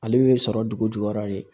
Ale bɛ sɔrɔ dugu jukɔrɔ de